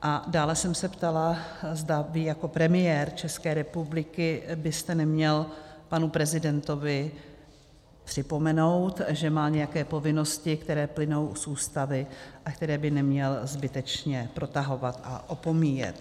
A dále jsem se ptala, zda vy jako premiér České republiky byste neměl panu prezidentovi připomenout, že má nějaké povinnosti, které plynou z Ústavy a které by neměl zbytečně protahovat a opomíjet.